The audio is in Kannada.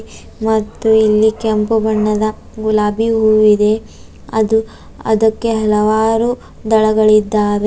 ಮತ್ತು ಇಲ್ಲಿ ಕೆಂಪು ಬಣ್ಣದ ಗುಲಾಬಿ ಹೂವಿದೆ ಅದು ಅದಕ್ಕೆ ಹಲವಾರು ದಳಗಳಿದ್ದಾವೆ.